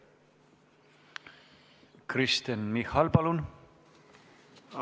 Kristen Michal, palun!